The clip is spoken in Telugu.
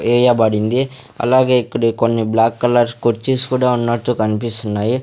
వేయబడింది అలాగే ఇక్కడ కొన్నీ బ్లాక్ కలర్ కుర్చిసు కుడా ఉన్నట్టు కనిపిస్తున్నాయి.